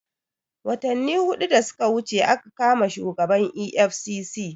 Watanni hudu da suka wuce aka kama shugaban EFCC